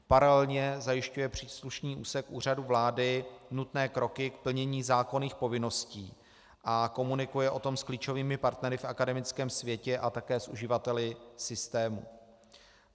Paralelně zajišťuje příslušný úsek Úřadu vlády nutné kroky k plnění zákonných povinností a komunikuje o tom s klíčovými partnery v akademickém světě a také s uživateli systému.